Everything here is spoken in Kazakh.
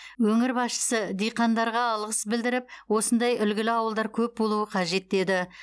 өңір басшысы диқандарға алғыс білдіріп осындай үлгілі ауылдар көп болуы қажет деді